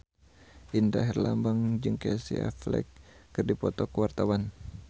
Indra Herlambang jeung Casey Affleck keur dipoto ku wartawan